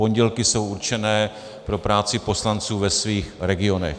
Pondělky jsou určené pro práci poslanců v jejich regionech.